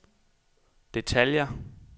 detaljer